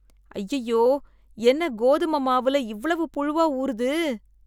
ஐயையோ, என்ன கோதும மாவுல இவ்ளோ புழுவா ஊருது.